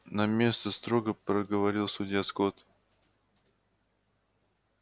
на место строго проговорил судья скотт